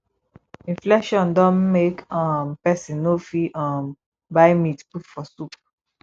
inflation don make um pesin no fit um buy meat put for soup